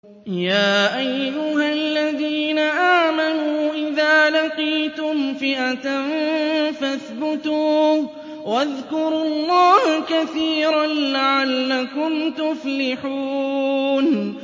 يَا أَيُّهَا الَّذِينَ آمَنُوا إِذَا لَقِيتُمْ فِئَةً فَاثْبُتُوا وَاذْكُرُوا اللَّهَ كَثِيرًا لَّعَلَّكُمْ تُفْلِحُونَ